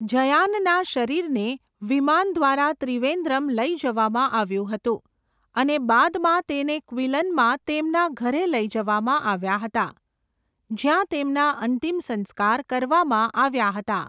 જયાનના શરીરને વિમાન દ્વારા ત્રિવેન્દ્રમ લઈ જવામાં આવ્યું હતું અને બાદમાં તેને ક્વિલનમાં તેમના ઘરે લઈ જવામાં આવ્યા હતા, જ્યાં તેમના અંતિમ સંસ્કાર કરવામાં આવ્યા હતા.